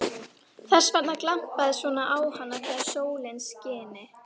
Þess vegna glampaði svona á hana þegar sólin skini.